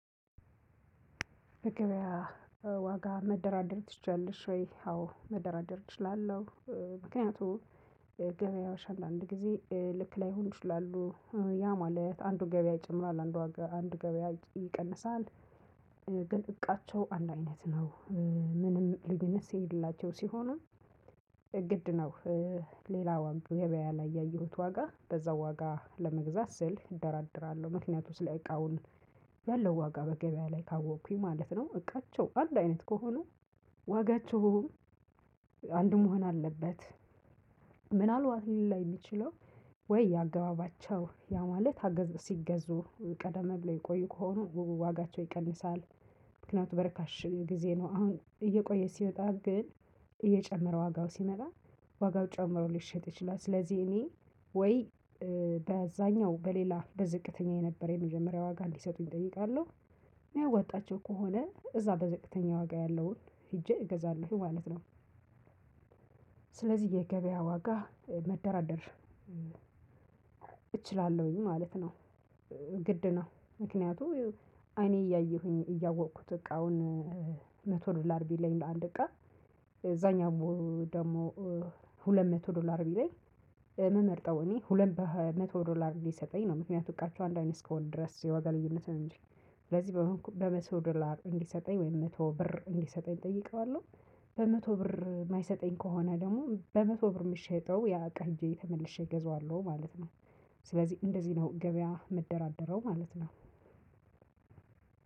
በግብያ ዋጋ መደራደር ትችያለሽ ወይ? አዎ መደራደር እችላለሁ። ምክንያቱ ገበያ ሻል አንዳንድ ጊዜ ልክ ላይሆኑ ይችላሉ ያ ማለት አንዱ ገበያ ይጨምራል አንዱ ገበያ ይቀንሳል። ግን እቃቸው አንድ አይነት ነው። ምንም ልዩነት የሌላቸው ሲሆኑ እግድ ነው። ሌላ ዋጋ ወይ ገበያ ያየሁት ዋጋ በዛው ዋጋ ለመግዛት ስል እደራድራለሁ ምክንያቱም ስለ እቃውን ያለው ዋጋ በገበያ ላይ ካወቅኩኝ ማለት ነው። እቃቸው አንድ አይነት ከሆኑ ዋጋቸውም አንድ መሆን አለበት። ምናልባት ሊለያይ እሚችለው ወይ የአገባባቸው ያ ማለት አገዝ ሲገዙ ቀደም ብለው የቆዩ ከሆኑ ውቡ ዋጋቸው ይቀንሳል። ምክንያቱም በረካሽ ጊዜ ነው አሁን እየቆየ ሲወጣ ግን እየጨመረ ዋጋው ሲመታ ዋጋው ጨምሮ ሊሸጥ ይችላል። ስለዚህ እኔ ወይ በዛኛው በሌላ በዝቅተኛ የነበረ የመጀመሪያ ዋጋ ሊሰጡኝ እጠይቃለሁ። የሚያዋጣቸው ከሆነ እዛ በዝቅተኛ ዋጋ ያለውን ሄጄ እገዛለሁ ማለት ነው። ስለዚህ የገበያ ዋጋ መደራደር እችላለሁኝ ማለት ነው። ግድ ነው ምክንያቱም አይኔ እያየሁኝ እያወቅኩት እቃን መቶ ዶላር ቢለኝ በአንድ እቃ እዛኛው ደግሞ ሁለት መቶ ዶላር ቢለኝ የምመርጠው እኔ ሁለት በመቶ ዶላር እንዲሰጠኝ ነው። ምክንያቱም ቀርቼው አንድ አይነት እስከሆነ ድረስ የዋጋ ልዩነትህን እንጂ ስለዚህ በመቶ ዶላር እንዲሰጠኝ ወይም መቶ ብር እንዲሰጠኝ እጠይቀዋለሁ። በመቶ ብር የማይሰጠኝ ከሆነ ደግሞ በመቶ ብር የምትሸጠው ያ እቃ ሂጄ ተመልሼ እገዛዋለሁ ማለት ነው። ስለዚህ እንደዚህ ነው ገበያ የምደራደረው ማለት ነው።